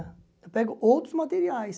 Eu pego outros materiais.